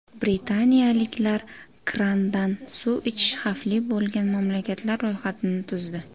Britaniyaliklar krandan suv ichish xavfli bo‘lgan mamlakatlar ro‘yxatini tuzdi.